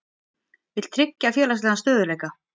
Vill tryggja félagslegan stöðugleika